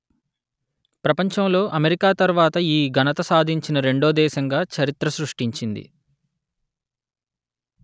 ప్రపంచంలో అమెరికా తర్వాత ఈ ఘనత సాధించిన రెండో దేశంగా చరిత్ర సృష్టించింది